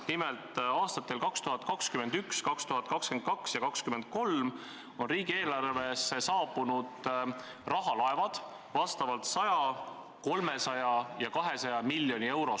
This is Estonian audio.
Nimelt, aastatel 2021, 2022 ja 2023 saabuvad riigieelarvesse rahalaevad, mis toovad vastavalt kaasa 100, 300 ja 200 miljonit eurot.